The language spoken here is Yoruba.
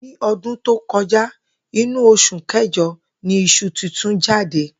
Ní o̩dún tó ko̩já, inú os̩ù ké̩jo̩ ni is̩u titun jáde